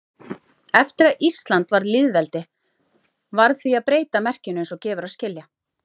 Eftir að Ísland varð lýðveldi varð því að breyta merkinu eins og gefur að skilja.